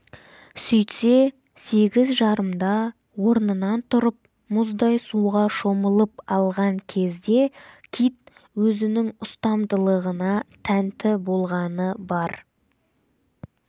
сөйтсе сегіз жарымда орнынан тұрып мұздай суға шомылып алған кезде кит өзінің ұстамдылығына тәнті болғаны бар